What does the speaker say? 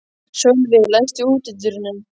Sölvi, læstu útidyrunum.